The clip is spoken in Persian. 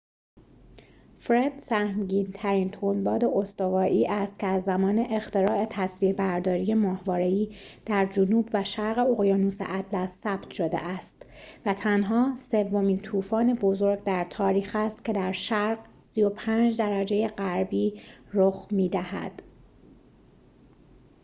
فرِد سهمگین‌ترین تندباد استوایی است که از زمان اختراع تصویربرداری ماهواره‌ای در جنوب و شرق اقیانوس اطلس ثبت شده است و تنها سومین طوفان بزرگ در تاریخ است که در شرق ۳۵ درجه غربی رخ می‌دهد